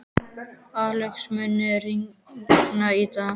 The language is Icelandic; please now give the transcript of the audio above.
Axel, mun rigna í dag?